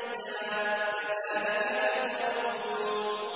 مَّيْتًا ۚ كَذَٰلِكَ تُخْرَجُونَ